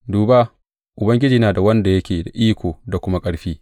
Duba, Ubangiji yana da wanda yake da iko da kuma ƙarfi.